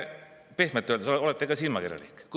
Pehmelt öeldes olete te natuke silmakirjalik.